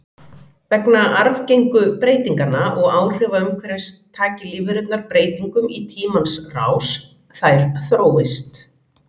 Vegna arfgengu breytinganna og áhrifa umhverfis taki lífverurnar breytingum í tímans rás, þær þróist.